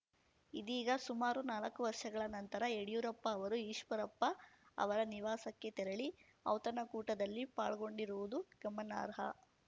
ಇದೀಗ ಸುಮಾರು ನಾಲ್ಕು ವರ್ಷಗಳ ನಂತರ ಯಡ್ಯೂರಪ್ಪ ಅವರು ಈಶ್ವರಪ್ಪ ಅವರ ನಿವಾಸಕ್ಕೆ ತೆರಳಿ ಔತಣಕೂಟದಲ್ಲಿ ಪಾಲ್ಗೊಂಡಿರುವುದು ಗಮನಾರ್ಹ